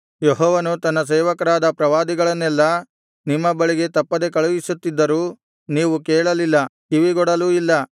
ಯೆಹೋವನು ತನ್ನ ಸೇವಕರಾದ ಪ್ರವಾದಿಗಳನ್ನೆಲ್ಲಾ ನಿಮ್ಮ ಬಳಿಗೆ ತಪ್ಪದೆ ಕಳುಹಿಸುತ್ತಿದ್ದರೂ ನೀವು ಕೇಳಲಿಲ್ಲ ಕಿವಿಗೊಡಲೂ ಇಲ್ಲ